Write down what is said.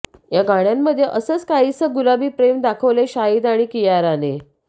या गाण्यामध्ये असचं काहीसं गुलाबी प्रेम दाखवलयं शाहिद आणि कियाराने